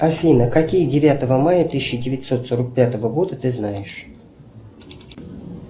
афина какие девятого мая тысяча девятьсот сорок пятого года ты знаешь